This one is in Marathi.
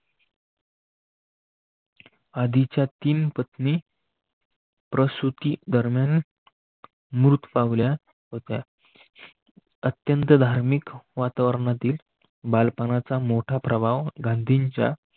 आधीच्या तीन पत्नी प्रसुती दरम्यान मृत पावल्या होत्या. अत्यंत धार्मिक वातावरणातील बालपणाचा मोठा प्रभाव गांधींच्या